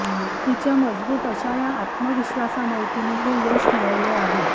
तिच्या मजबूत अशा आत्मविश्वासामुळे तिने हे यश मिळवले आहे